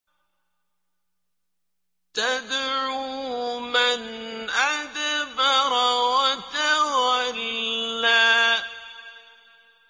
تَدْعُو مَنْ أَدْبَرَ وَتَوَلَّىٰ